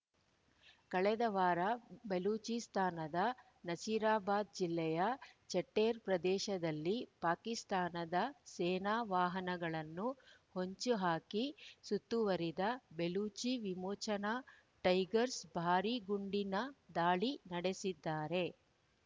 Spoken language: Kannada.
ಕಳೆದ ವಾರ ಬೆಲೂಚಿಸ್ತಾನದ ನಸಿರಾಬಾದ್ ಜಿಲ್ಲೆಯ ಚಟ್ಟೆರ್ ಪ್ರದೇಶದಲ್ಲಿ ಪಾಕಿಸ್ತಾನದ ಸೇನಾ ವಾಹನಗಳನ್ನು ಹೊಂಚು ಹಾಕಿ ಸುತ್ತುವರಿದ ಬೆಲೂಚಿ ವಿಮೋಚನಾ ಟೈಗರ್ಸ್ ಭಾರಿ ಗುಂಡಿನ ದಾಳಿ ನಡೆಸಿದ್ದಾರೆ